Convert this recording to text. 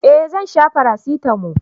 eh Zan sha parasitamo